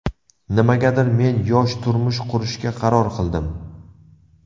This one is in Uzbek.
Nimagadir, men yosh turmush qurishga qaror qildim.